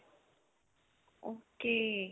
ok.